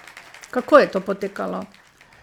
Kako je to potekalo?